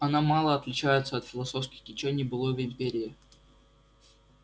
она мало отличается от философских течений былой империи